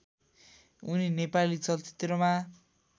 उनी नेपाली चलचित्रमा